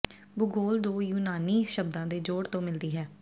ਭੂਗੋਲ ਦੋ ਯੂਨਾਨੀ ਸ਼ਬਦਾਂ ਦੇ ਜੋੜ ਤੋਂ ਮਿਲਦੀ ਹੈ